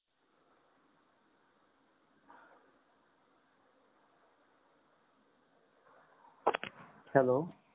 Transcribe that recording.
hello